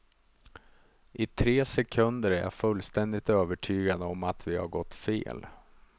I tre sekunder är jag fullständigt övertygad om att vi har gått fel.